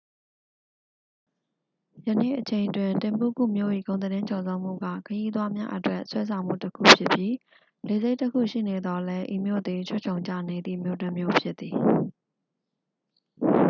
ယနေ့အချိန်တွင် တင်ဘုကု မြို့၏ ဂုဏ်သတင်းကျော်ဇောမှုက ခရီးသွားများအတွက် ဆွဲဆောင်မှုတစ်ခုဖြစ်ပြီး လေဆိပ်တစ်ခုရှိနေသော်လည်း ဤမြို့သည် ခြွတ်ခြုံကျနေသည့် မြို့တစ်မြို့ဖြစ်သည်